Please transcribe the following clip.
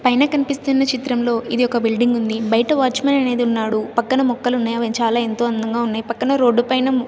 పైన కనిపిస్తున్న చిత్రంలో ఇది ఒక బిల్డింగ్ ఉంది బయట వాచ్మెన్ అనేది ఉన్నాడు పక్కన మొక్కలు ఉన్నాయి చాలా ఎంతో అందంగా ఉన్నాయి పక్కన రోడ్డు పైన.